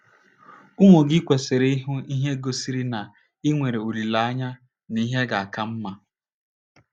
Ụmụ gị kwesịrị ịhụ ihe gosiri na i nwere olileanya n’ihe ga - aka mma.